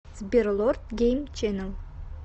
сбер лорд гейм ченел